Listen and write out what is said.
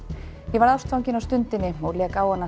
ég varð ástfanginn á stundinni og lék á hana